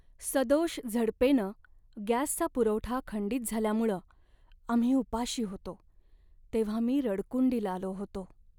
सदोष झडपेनं गॅसचा पुरवठा खंडित झाल्यामुळं आम्ही उपाशी होतो तेव्हा मी रडकुंडीला आलो होतो.